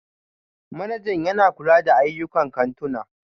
Manajan yana kula da ayyukan kantuna